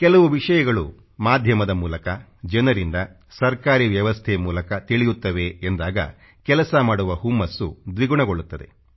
ಕೆಲವು ವಿಷಯಗಳು ಮಾಧ್ಯಮದ ಮೂಲಕ ಜನರಿಂದ ಸರ್ಕಾರೀ ವ್ಯವಸ್ಥೆ ಮೂಲಕ ತಿಳಿಯುತ್ತವೆ ಎಂದಾಗ ಕೆಲಸ ಮಾಡುವ ಹುಮ್ಮಸ್ಸು ದ್ವಿಗುಣಗೊಳ್ಳುತ್ತದೆ